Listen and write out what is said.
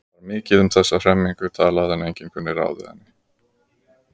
Var mikið um þessa hremmingu talað en enginn kunni ráð við henni.